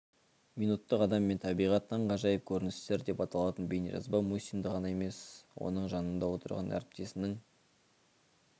минуттық адам мен табиғат таңғажайып көріністер деп аталатын бейнежазба мұсинді ғана емес оның жанында отырған әріптесінің